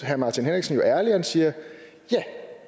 herre martin henriksen jo ærlig og siger ja